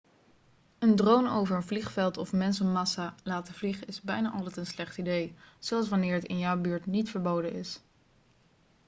een drone over een vliegveld of mensenmassa laten vliegen is bijna altijd een slecht idee zelfs wanneer het in jouw buurt niet verboden is